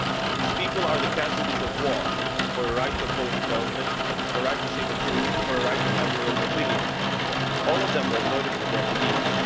These people are the casualties of war for a right to oppose the government, for a right to tell the truth, for a right to have your own opinion. All of them were murdered for their beliefs.